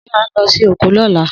Se a n lọ sí oko lola?